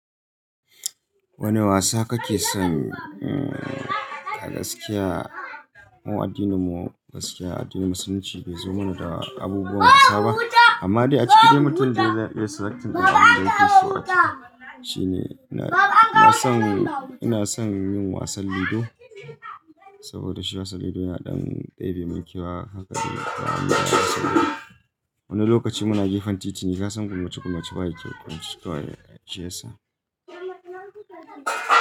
Wani wasa kake son? Eh a gaskiya, mo addinin mu gaskiya addinin musulunci baizo mana da abubuwan wasa ba. Amma dai a cikin dai mutum dai zai iya kira sakamakin al'adun dinki su wata. Shi ne, ina son, ina son yin wasan lido saboda shi wasan lido yana ɗan ɗebi mai kewa haka dai zamu iya kasuwa. Wani lokaci muna gefen titi ne kasan kurmace kurmace waye ke kwance kwarai shi ciyasa.